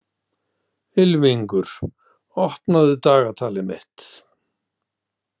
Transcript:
Ylfingur, opnaðu dagatalið mitt.